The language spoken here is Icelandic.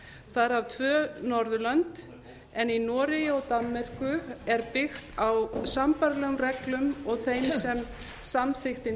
þar af tvö norðurlönd en í noregi og danmörku er byggt á sambærilegum reglum og þeim sem samþykktin